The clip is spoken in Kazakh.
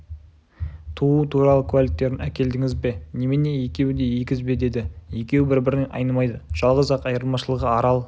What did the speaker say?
тууы туралы куәліктерін әкелдіңіз бе немене екеуі егіз бе деді екеуі бір-бірінен айнымайды жалғыз-ақ айырмашылығы арал